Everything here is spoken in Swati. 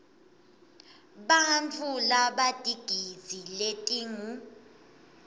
bantfu labatigidzi letingu